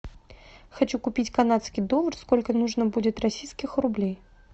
хочу купить канадский доллар сколько нужно будет российских рублей